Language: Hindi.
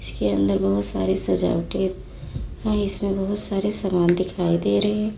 इसके अंदर बहुत सारी सजावटे हैं इसके अंदर बहुत सारे सामान दिखाई दे रहे हैं।